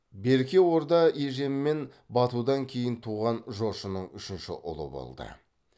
берке орда ежен мен батудан кейін туған жошының үшінші ұлы болды